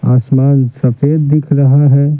आसमान सफेद दिख रहा है।